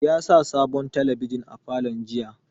Ya sa sabon talabijin a falon jiya